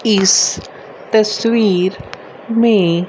इस तस्वीर में--